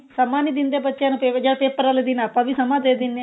ਸਮਾਂ ਨੀ ਦਿੰਦੇ ਬੱਚੇ ਨੂੰ ਬੇਵਜਾ paper ਵਾਲੇ ਦਿਨ ਆਪਾਂ ਵੀ ਸਮਾਂ ਦੇ ਦਿੰਦੇ ਆ